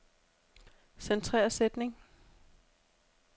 Centrer sætning.